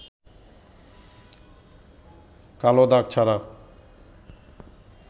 কালো দাগ ছাড়া